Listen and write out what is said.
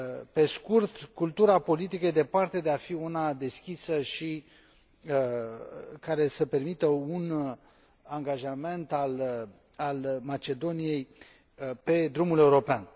Pe scurt, cultura politică este departe de a fi una deschisă și care să permită un angajament al Macedoniei pe drumul european.